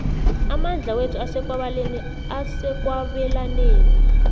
amandla wethu asekwabelaneni